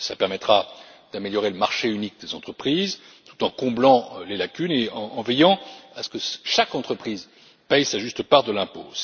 Cela permettra d'améliorer le marché unique des entreprises tout en comblant les lacunes et en veillant à ce que chaque entreprise paie sa juste part de l'impôt.